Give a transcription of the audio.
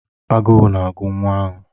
Agụụ na-agụ nwa ahụ.